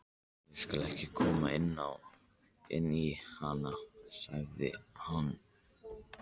Ég skal ekki koma inn í hana, hugsaði hann.